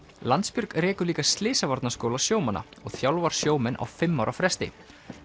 Landsbjörg rekur líka Slysavarnaskóla sjómanna og þjálfar sjómenn á fimm ára fresti